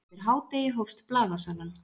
Eftir hádegi hófst blaðasalan.